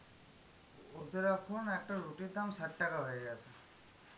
ওদের এখন একটা রুটির দাম ষাট টাকা হয়ে গেছে.